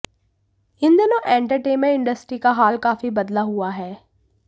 इन दिनों entertainment industry का हाल काफी बदला हुआ है